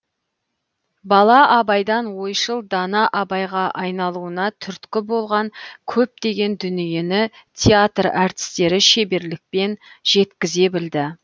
бала абайдан ойшыл дана абайға айналуына түрткі болған көптеген дүниені театр әртістері шеберлікпен жеткізе білді